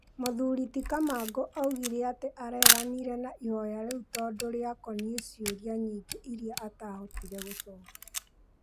Mũthuri ti Kamangũaugire atĩ areganire na ihoya rĩu tondũrĩakoniĩ ciũria nyingĩ irĩa atahotire gũcokia.